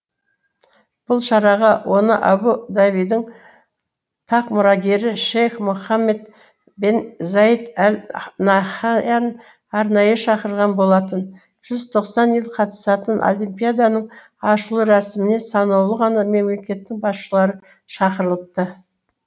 бұл шараға оны абу дабидің тақ мұрагері шейх мұхаммед бен заид әл наһаян арнайы шақырған болатын жүз тоқсан ел қатысатын олимпиаданың ашылу рәсіміне санаулы ғана мемлекеттің басшылары шақырылыпты